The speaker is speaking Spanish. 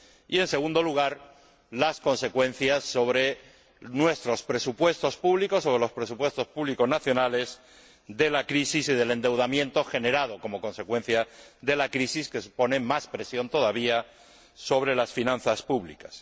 y, en segundo lugar, las consecuencias sobre nuestros presupuestos públicos, sobre los presupuestos públicos nacionales, de la crisis y del endeudamiento generado como consecuencia de la crisis, que supone más presión todavía sobre las finanzas públicas.